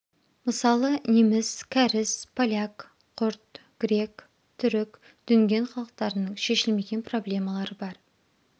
мысалы неміс кәріс поляк құрд грек түрік дүнген халықтарының шешілмеген проблемалары бар